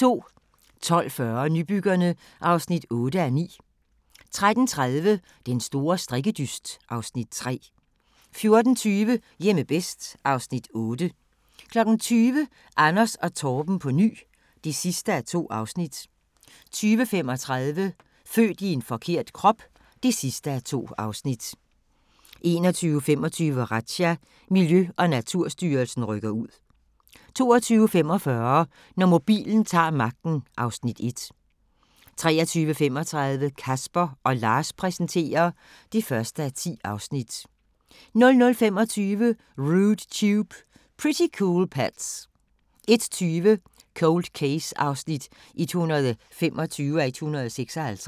12:40: Nybyggerne (8:9) 13:30: Den store strikkedyst (Afs. 3) 14:20: Hjemme bedst (Afs. 8) 20:00: Anders & Torben på ny (2:2) 20:35: Født i forkert krop (2:2) 21:25: Razzia – Miljø- og Naturstyrelsen rykker ud 22:45: Når mobilen ta'r magten (Afs. 1) 23:35: Casper & Lars præsenterer (1:10) 00:25: Rude Tube – Pretty Cool Pets 01:20: Cold Case (125:156)